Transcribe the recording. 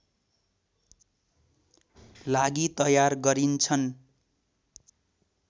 लागि तयार गरिन्छन्